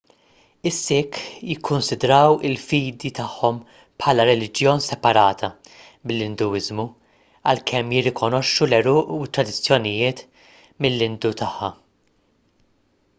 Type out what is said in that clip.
is-sikh jikkunsidraw il-fidi tagħhom bħala reliġjon separata mill-induiżmu għalkemm jirrikonoxxu l-għeruq u t-tradizzjonijiet mill-indu tagħha